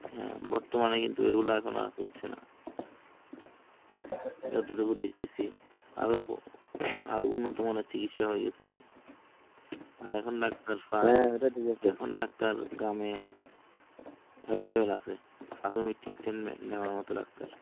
available আছে। প্রাথমিক treatment নেওয়ার মতো ডাক্তার